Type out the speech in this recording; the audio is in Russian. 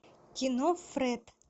кино фред